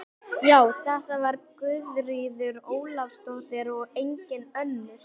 Já, þetta var Guðríður Ólafsdóttir og engin önnur!